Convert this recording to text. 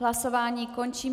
Hlasování končím.